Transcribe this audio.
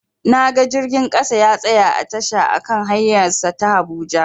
Naga jirgin ƙasa ya tsaya a tasha a kan hanyar sa ta habuja